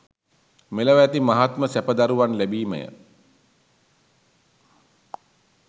මෙලොව ඇති මහත්ම සැප දරුවන් ලැබීමය